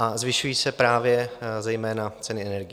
A zvyšují se právě zejména ceny energií.